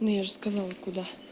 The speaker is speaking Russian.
ну я же сказала куда